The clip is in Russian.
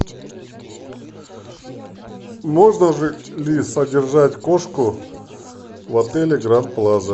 можно ли содержать кошку в отеле гранд плаза